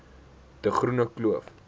de groene kloof